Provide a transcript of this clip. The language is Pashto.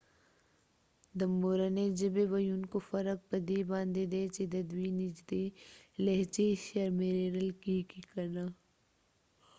د مورنی ژبی ويونکو فرق په دي باندي دي چې ددوي نږدې لهچې شمیرل کېږی که نه